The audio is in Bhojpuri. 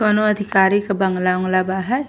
कोनो अधिकारी के बंगला उगला बाहे।